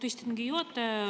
Austatud istungi juhataja!